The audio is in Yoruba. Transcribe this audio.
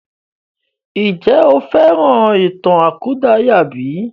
Ǹjẹ́ o fẹ́ràn ìtàn àkúdàáyà bí?